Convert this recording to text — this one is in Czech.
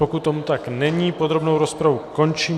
Pokud tomu tak není, podrobnou rozpravu končím.